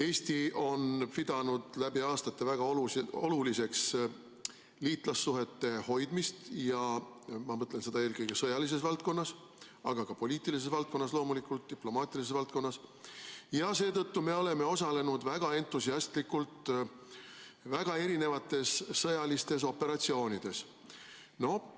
Eesti on pidanud läbi aastate väga oluliseks liitlassuhete hoidmist – ma mõtlen seda eelkõige sõjalises valdkonnas, aga ka poliitilises valdkonnas ja loomulikult diplomaatilises valdkonnas – ja seetõttu me oleme osalenud väga entusiastlikult väga erinevates sõjalistes operatsioonides.